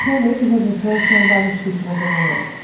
Realmente o Jardim França é um bairro chique na Zona Norte.